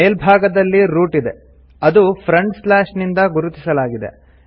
ಮೇಲ್ಭಾಗದಲ್ಲಿ ರೂಟ್ ಇದೆ ಅದು ಫ್ರಂಟ್ ಸ್ಲಾಶ್ ನಿಂದ ಗುರುತಿಸಲಾಗಿದೆ